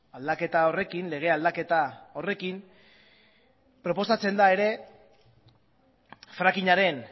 aldaketa horrekin lege aldaketa horrekin proposatzen da ere frackingaren